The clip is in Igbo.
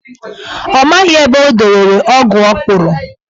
Ọ maghị ebe o dobere ọgụ ọ kpụrụ.